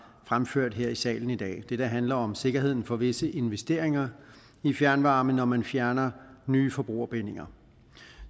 fremført her i salen i dag det der handler om sikkerheden for visse investeringer i fjernvarme når man fjerner nye forbrugerbindinger